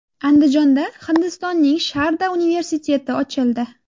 Andijonda Hindistonning Sharda universiteti ochildi.